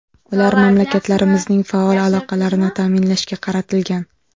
Ular mamlakatlarimizning faol aloqalarini ta’minlashga qaratilgan.